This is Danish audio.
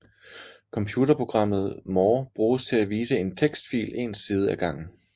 Computerprogrammet more bruges til at vise en tekstfil en side af gangen